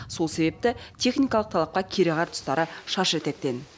сол себепті техникалық талапқа кереғар тұстары шаш етектен